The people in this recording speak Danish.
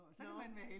Nåh